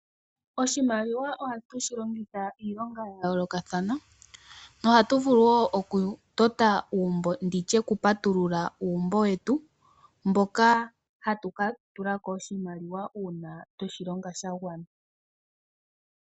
Oshimaliwa ohatu shi longitha iilonga ya yoolokathana, no hatu vulu wo okutota uumbo, nenge nditye okupatulula uumbo wetu, mboka hatu ka tulako oshimaliwa uuna tweshi longa sha gwana.